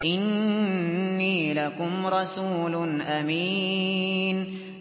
إِنِّي لَكُمْ رَسُولٌ أَمِينٌ